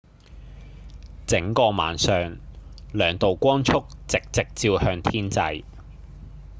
整個晚上兩道光束直直照向天際